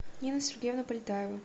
нину сергеевну полетаеву